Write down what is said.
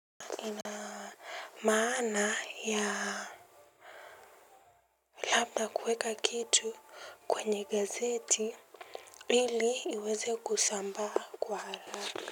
Maana ya labda kuweka kitu kwenye gazeti lili iweze kusamba kwa ala.